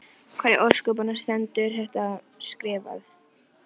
Hvar í ósköpunum stendur þetta skrifað?